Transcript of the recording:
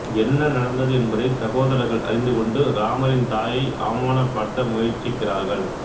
என்ன நடந்தது என்பதை சகோதரர்கள் அறிந்துகொண்டு ராமரின் தாயை அவமானப்படுத்த முயற்சிக்கிறார்கள்